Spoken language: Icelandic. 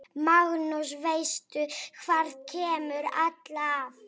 Magnús: Veistu hvað kemur alltaf?